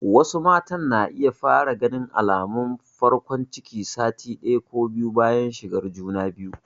Wasu matan na iya fara ganin alamun farkon ciki sati ɗaya ko biyu bayan shigar juna biyu.